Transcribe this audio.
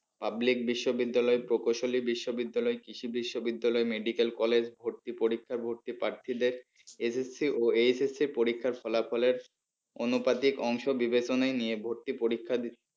Public বিশ্ববিদ্যালয় প্রকৌশলী বিশ্ববিদ্যালয় কৃষি বিশ্ববিদ্যালয় medical college ভর্তি পরীক্ষায় ভর্তি প্রার্থীদের SSC ও HSC পরীক্ষার ফলাফলের অনুপাতিক অংশ বিবেচনায় নিয়ে ভর্তি পরীক্ষায